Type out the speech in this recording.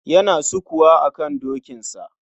Yana sukuwa akan dokinsa.